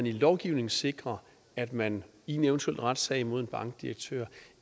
i lovgivningen sikre at man i en eventuel retssag imod en bankdirektør